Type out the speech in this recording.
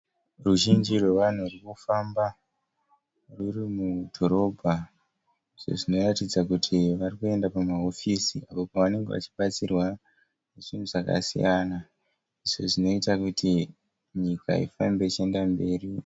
Ruzhinji rwevanhu rwuri kufamba rwuri mudhorobha. Izvo zvinoratidza kuti vari kuenda kumahofisi, uko kwavanenge vachibatsirwa zvinhu zvakasiyana izvo zvinoita kuti nyika ifambe ichienda mberi.